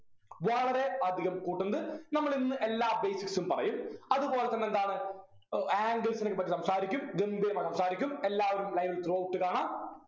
വളരെ അധികം കൂട്ടുന്നത്. നമ്മളിന്നു എല്ലാ basics ഉം പറയും അതുപോലെതന്നെ എന്താണ് ഏർ angles നെയൊക്കെപ്പറ്റി സംസാരിക്കും ഗംഭീരമായി സംസാരിക്കും എല്ലാവരും live throughout കാണാ.